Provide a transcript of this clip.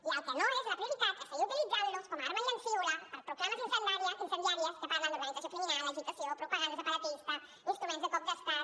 i el que no és la prioritat és seguir utilitzant los com a arma llancívola per proclames incendiàries que parlen d’organització criminal agitació propaganda separatista instruments de cop d’estat